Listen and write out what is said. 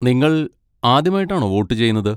നിങ്ങൾ ആദ്യമായിട്ടാണോ വോട്ട് ചെയ്യുന്നത്?